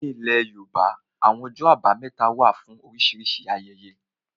Ní ilẹ̀ yóòbá, àwọn ọjọ́ àbámẹ́ta wà fún oríṣìíríṣìí ayẹyẹ